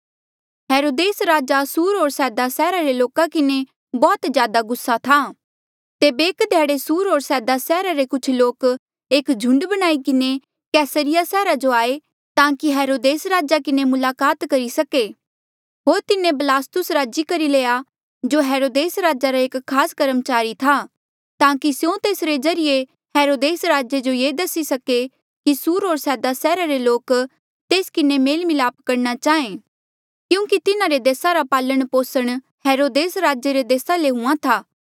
हेरोदेस राजा सुर होर सैदा सैहरा रे लोका किन्हें बौह्त ज्यादा गुस्सा था तेबे एक ध्याड़े सुर होर सैदा सैहरा रे कुछ लोक एक झुंड बनाई किन्हें कैसरिया सैहरा जो आये ताकि हेरोदेस राजे किन्हें मुलाकात करी सके होर तिन्हें बलास्तुस राज़ी करी लया जो हेरोदेस राजे रा एक खास कर्मचारी था ताकि स्यों तेसरे ज्रीए हेरोदेस राजे जो ये दसी सके कि सुर होर सैदा सैहरा रे लोक तेस किन्हें मेल मलाप करणा चाहें क्यूंकि तिन्हारे देसा रा पालण पोसण हेरोदेस राजे रे देसा ले हुंहां था